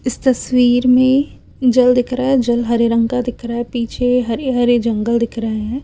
इस तस्वीर में जल दिख रहा है जल हरे रंग का दिख रहा है पीछे हरे हरे जंगल दिख रहे हैं।